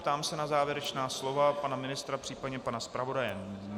Ptám se na závěrečná slova pana ministra, případně pana zpravodaje.